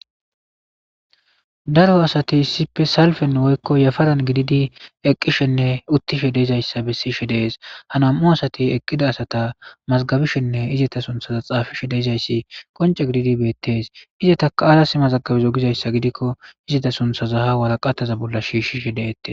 daro asati sippe salfen woykko yafaran gididi eqqishenne uttishe deezayssa bessishe dees ha nam7u asati eqqida asata mazgabishenne izeta sunthaza xaafishe deezayssi qonce gididi beettes izeta kaaras mazagabizo gizayssa gidikko izeta sunthaza ha waraqataza bolla shiishishe deette